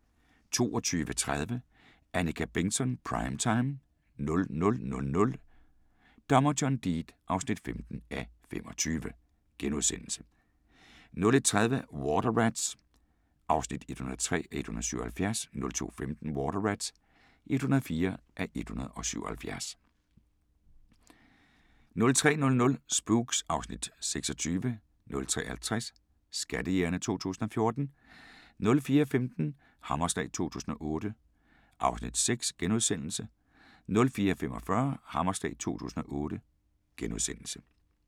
22:30: Annika Bengtzon: Prime time 00:00: Dommer John Deed (15:25)* 01:30: Water Rats (103:177) 02:15: Water Rats (104:177) 03:00: Spooks (Afs. 26) 03:50: Skattejægerne 2014 04:15: Hammerslag 2008 (Afs. 6)* 04:45: Hammerslag 2008 *